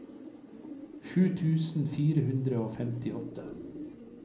sju tusen fire hundre og femtiåtte